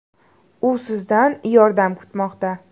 U sizdan yordam kutmoqda!.